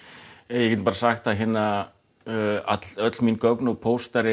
ég get bara sagt að öll öll mín gögn og póstar